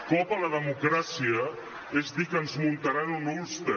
cop a la democràcia és dir que ens muntaran un ulster